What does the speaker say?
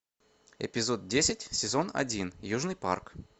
эпизод десять сезон один южный парк